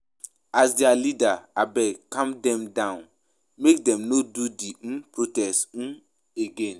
As their leader abeg calm dem down make dem no do the um protest um again